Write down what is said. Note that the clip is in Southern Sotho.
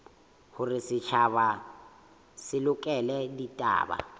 hore setjhaba se lekole ditaba